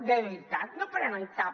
de veritat no prenen cap